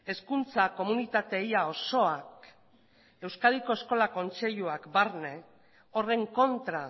hezkuntza komunitate ia osoak euskadiko eskola kontseiluak barne horren kontra